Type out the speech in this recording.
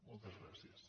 moltes gràcies